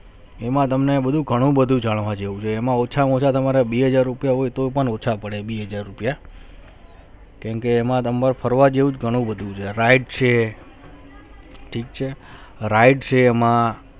એમના તમને બધુ ઘણું બધુ તમને જાણવા જેવું છે એમાં ઓચા મા ઓચુ તમારે બે હાજર રૂપિયા હોઉં તો પણ ઓચા પડે હાજર રૂપિયા કેમ કે એમના તમને ફરવા જેવું ગનુ બધુ છે ride છે ઠીક છે ride છે એમાં